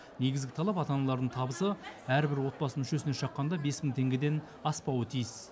негізгі талап ата аналардың табысы әрбір отбасы мүшесіне шаққанда бес мың теңгеден аспауы тиіс